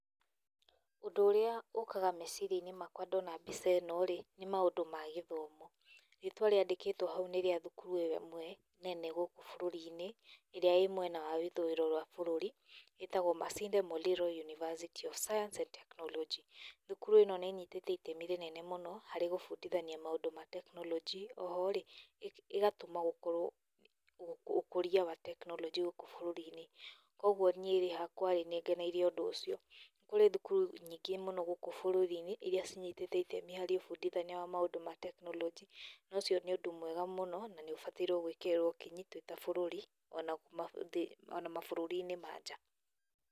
Ũndũ ũrĩa ũkaga meciria-inĩ makwa ndona mbica ĩno-rĩ nĩ maũndũ ma gĩthomo. Rĩtwa rĩandĩkĩtwo hau nĩ rĩtwa rĩa thukuru ĩmwe nene gũkũ bũrũri-inĩ ĩrĩa ĩrĩmwena wa ithũĩro rĩa bũrũri ĩtagwo Masinde Muliro University Of Science and Technology. Thukuru ĩno nĩ ĩnyitĩte itemi inene mũno harĩ gũbundithania maũndũ ma tekinoronjĩ, oho-rĩ ĩgatũma gũkorwo , ũkũria wa tekinoronjĩ gũkũ bũrũri-inĩ, koguo niĩrĩ hakwa nĩngenereire ũndũ ũcio. Kũrĩ thukuru nyingĩ mũno gũkũ bũrũri-inĩ iria cinitĩte itemi harĩ ũbundithania wa maũndũ ma tekinoronjĩ na ũcio nĩ ũndũ mwega mũno na nĩũgũbatara gwĩkĩrĩrwo kinyi tũrĩ ta bũrũri ona kuma thĩ, ona mabũrũri ma nja.